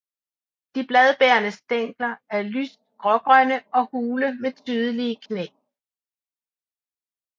De bladbærende stængler er lyst grågrønne og hule med tydelige knæ